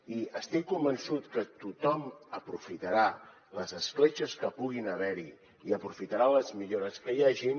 i estic convençut que tothom aprofitarà les escletxes que puguin haver hi i aprofitaran les millores que hi hagin